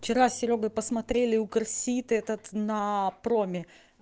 вчера с серёгой посмотрели укрселт этот на проме